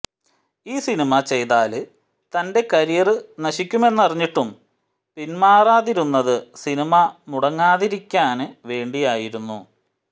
ഈ സിനിമ ചെയ്താല് തന്റെ കരിയര് നശിക്കുമെന്നറിഞ്ഞിട്ടും പിന്മാറാതിരുന്നത് സിനിമ മുടങ്ങാതിരിക്കാന് വേണ്ടിയായിരുന്നു